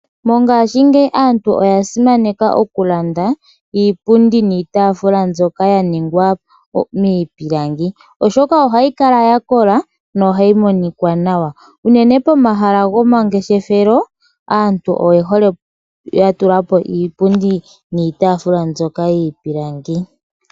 Mongashingeyi aantu oya simaneka oku landa iipundi niitafula mbyoka ya ningwa miipilangi ,oshoka ohayi kala ya kola yo ohayi monika nawa. Uunene pomahala gomangeshefelo aantu oye hole oku tulapo iipundi niitafula mbyoka yiipilangi.